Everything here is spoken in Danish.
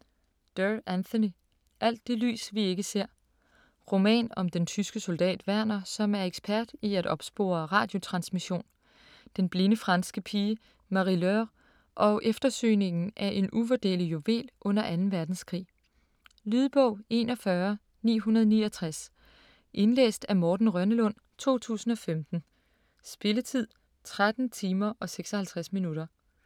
Doerr, Anthony: Alt det lys vi ikke ser Roman om den tyske soldat Werner, som er ekspert i at opspore radiotransmission, den blinde franske pige Marie-Laure, og eftersøgningen af en uvurderlig juvel under 2. verdenskrig. Lydbog 41969 Indlæst af Morten Rønnelund, 2015. Spilletid: 13 timer, 56 minutter.